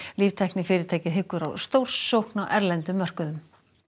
líftæknifyrirtækið hyggur á stórsókn á erlendum mörkuðum